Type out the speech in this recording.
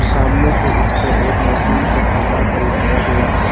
सामने से इसको एक मशीन से फंसा कर उठाया गया है।